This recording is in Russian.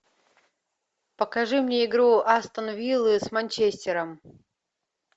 покажи мне игру астон виллы с манчестером